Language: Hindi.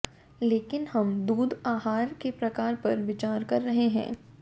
लेकिन हम दूध आहार के प्रकार पर विचार कर रहे हैं